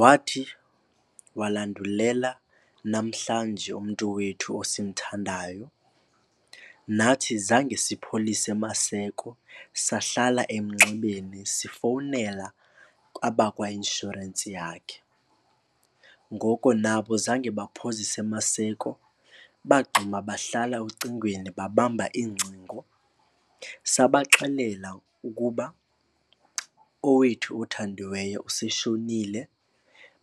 Wathi walandulela namhlanje umntu wethu osimthandayo. Nathi zange sipholise maseko sahlala emnxebeni sifowunela abakwainshorensi yakhe. Ngoko nabo zange baphozise maseko bagxuma bahlala ocingweni, babamba iingcingo sabaxelela ukuba owethu othandiweyo useshonile.